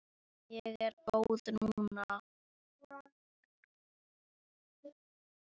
Ég er góð núna.